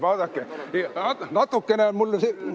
Vaadake!